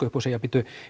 upp og segja bíddu